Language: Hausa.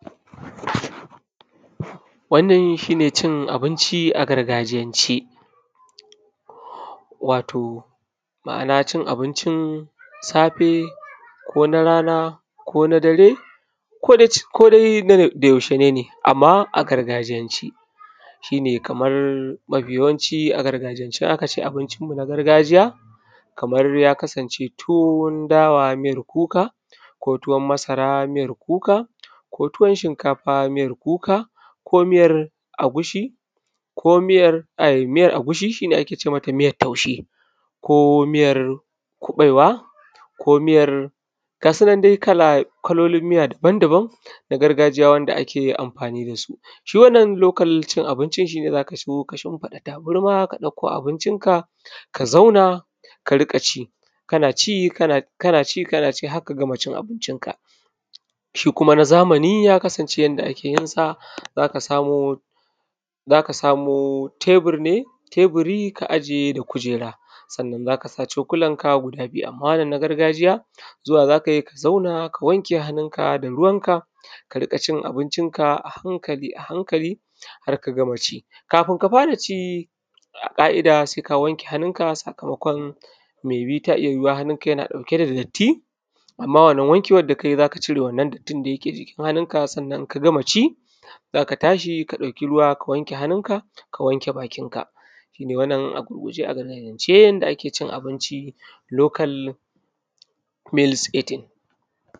Wannan shi ne cin abinci a gargajiyance. Wato, ma’ana cin abincin safe, ko na rana, ko na dare, ko dai, ko dai da yaushe ne ne, amma a gargajiyance. Shi ne kamar mafi yawanci a gargajiyance in aka ci abincinmu na gargajiya, kamar ya kasance tuwon dawa miyar kuka; ko tuwon masara miyar kuka; ko tuwon shinkafa miyar kuka; ko miyar agushi, ko miyar ai, miyar agushi, shi ne ake ce mata miyar taushe; ko miyar kuɓaiwa, ko miyar, ga su nan dai kala, kalolin miya daban-daban na gargajiya wanda ake amfani da su. Shi wannan lokal cin abincin shi ne za ka zo ka shimfiɗa tabarma ka ɗauko abincinka, ka zauna ka riƙa ci, kana ci, kana ci, kana ci, har ka gama cin abincinka. Shi kuma na zamani ya kasance yanda ake yin sa, za ka samo tebur ne, teburi ka ajiye da kuera. Sannan za ka sa cokulanka guda biyu, amma wannan na gargajiya, zuwa za ka yi ka zauna ka wanke hannunka da ruwanka ka riƙa, cin abincinka a hankali a hankali har ka gama ci. Kafin ka fara ci a ƙa’ida sai ka wanke hanunka sakamakon me bi ta iya yuwuwa hanunka yana ɗauke da datti, amma wannan wankewan da ka yi za ka cire wannan dattin da yake jikin hannunka, sannan in ka gama ci, za ka tashi ka ɗauki ruwa ka wanke hanunka, ka wanke bakinka. Shi dai wannan a gurguje a gargajiyance, yanda ake cin abinci, lokal mils itin.